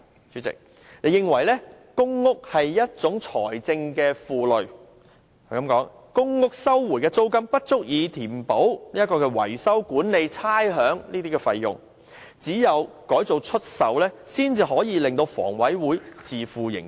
主席，她認為公屋是財政負累，表示公屋收回的租金不足以支付維修、管理、差餉等費用，只有改作出售，才能令香港房屋委員會自負盈虧。